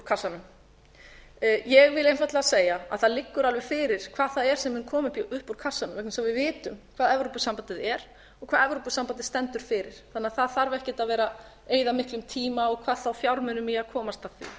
kassanum ég vil einfaldlega segja að það liggur alveg fyrir hvað það er sem mun koma upp úr kassanum því við vitum hvað evrópusambandið er og hvað evrópusambandið stendur fyrir þannig að það þarf ekkert að vera að eyða miklum tíma hvað þá fjármunum í að komast að því